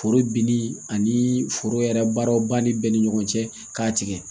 Foro binni ani foro yɛrɛ baaraw banni bɛɛ ni ɲɔgɔn cɛ k'a tigɛ